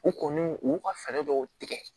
U kɔni u y'u ka fɛɛrɛ dɔw tigɛ